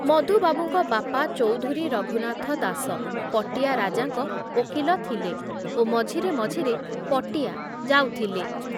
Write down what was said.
ମଧୁବାବୁଙ୍କ ବାପା ଚୌଧୁରୀ ରଘୁନାଥ ଦାସ ପଟିଆ ରାଜାଙ୍କ ଓକିଲ ଥିଲେ ଓ ମଝିରେ ମଝିରେ ପଟିଆ ଯାଉଥିଲେ ।